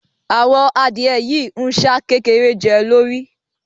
Àwọn adìẹ yìí ń ṣá kékeré jẹ́ lórí